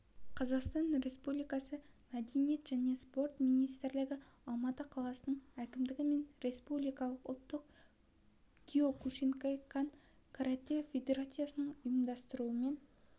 қазақстан республикасы мәдениет және спорт министрлігі алматы қаласының әкімдігі мен республикалық ұлттық киокушинкай-кан каратэ федерациясының ұйымдастыруымен